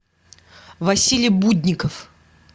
василий будников